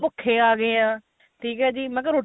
ਭੁੱਖੇ ਆ ਗਏ ਆ ਠੀਕ ਏ ਜੀ ਮਤਲਬ